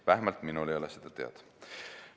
Vähemalt minule ei ole see teada.